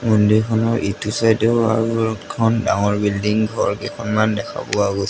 মন্দিৰখনৰ ইটো চাইডেও আৰু এখন ডাঙৰ বিল্ডিং ঘৰ কেখনমান দেখা পোৱা গৈছে।